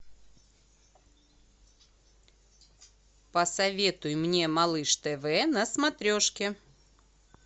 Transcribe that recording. посоветуй мне малыш тв на смотрешке